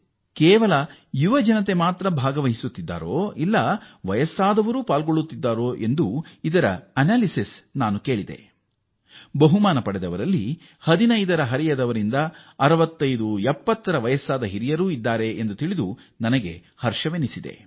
ನಾನು ಕೇವಲ ಯುವ ಜನರು ಮಾತ್ರವೇ ಇದರಲ್ಲಿ ತೊಡಗಿದ್ದಾರೆಯೇ ಎಂಬ ವಿಶ್ಲೇಷಣೆಯನ್ನು ತಿಳಿಯಬಯಸಿದಾಗ ಹಿರಿಯ ವ್ಯಕ್ತಿಗಳೂ ಮುಂದೆ ಬಂದಿದ್ದಾರೆ ಎಂದು ತಿಳಿದು ಸಂತೋಷವಾಯಿತು ಇದರಲ್ಲಿ 15 ವರ್ಷದ ಯುವಕರಿಂದ ಹಿಡಿದು 6570ವರ್ಷದ ಹಿರಿಯರೂ ಭಾಗಿಯಾಗಿದ್ದಾರೆ